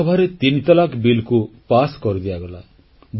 ଲୋକସଭାରେ ତିନି ତଲାକ୍ ବିଲ୍ ପାସ୍ କରିଦିଆଗଲା